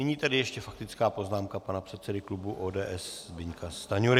Nyní tedy ještě faktická poznámka pana předsedy klubu ODS Zbyňka Stanjury.